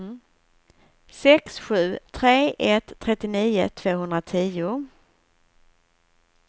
sex sju tre ett trettionio tvåhundratio